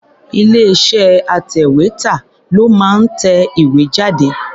Ilé-iṣẹ́ atẹ̀wétà ló máa ń tẹ ìwé jáde.